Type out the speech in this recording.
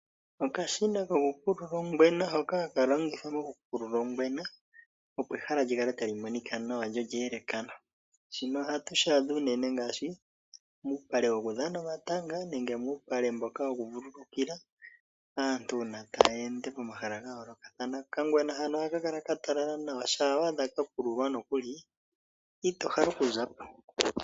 Okashina kokupulula ongwena hoka haka longithwa okupulula ongwena opo ehala lyi kale tali monika nawa lyo olya yelekana shino ohatu shi adha uunene ngaashi muupale wokudhana omatanga, muupale mboka woku vululukila aantu uuna taya ende pomahala ga yoolakathana. Okangwena hano ohaka kala ka talala nawa shampa wa adha ka kululwa nokuli ito hale oku za po.